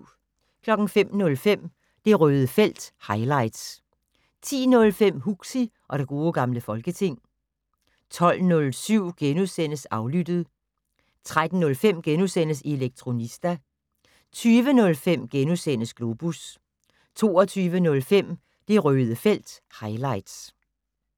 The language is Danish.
05:05: Det Røde felt - highlights 10:05: Huxi og det gode gamle folketing 12:07: Aflyttet * 13:05: Elektronista * 20:05: Globus * 22:05: Det Røde felt - highlights